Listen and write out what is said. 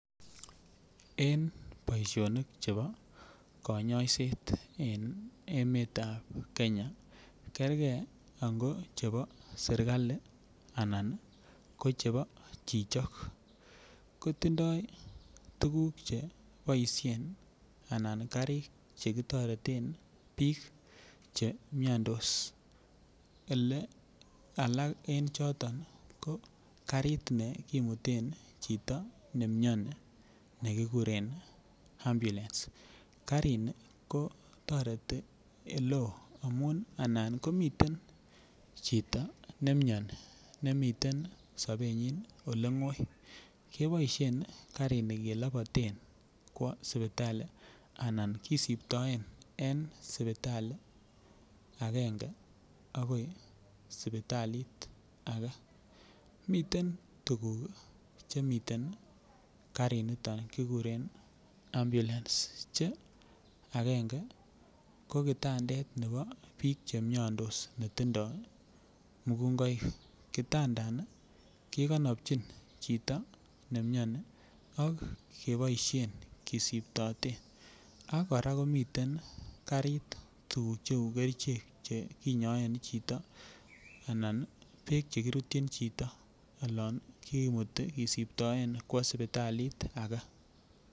En boisionik chebo kanyaiset emetab Kenya kergei ango chebo serkali anan ko chebo chichok ko tindoi tuguk Che kiboisien anan karik Che kitoreten bik Che miandos Ole alak en choto Karit ne kimute chito ne mioni nekikuren ambulance karini ko toreti oleo amun anan komiten chito ne mioni nemiten sobenyin Ole ngoi keboisien karini keloboten kwa sipitali anan kisiptoen en agenge kwo sipitalit age miten tuguk chemiten karinito kikuren ambulance Che agenge ko kitandet nebo bik Che miandos ne tindoi mugungoik kikonopchin chito ne mioni ak keboisien kesiptoten ak kora komiten karit tuguk cheu kerichek Che kinyaen chito anan bek Che kirutyi chito Che kirutyin olon kisiptoen kwo sipitalit age